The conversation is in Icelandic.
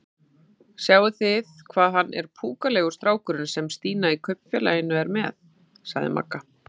Sjáið þið hvað hann er púkalegur strákurinn sem Stína í Kaupfélaginu er með? sagði Magga.